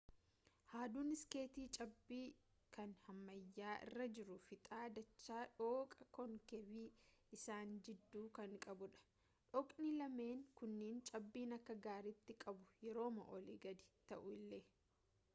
haadduun iskeetii cabbii kan hammayyaa irra jiru fiixa dachaa dhooqa koonkeevii isaan jidduu kan qabu dha dhooqni lameen kunniin cabbiin akka gaaritti qabu yerooma olii gadi ta'u illee